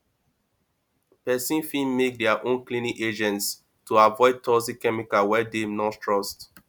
person fit make their own cleaning agents to avoid toxic chemicals wey dem no trust